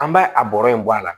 An b'a a bɔrɔ in bɔ a la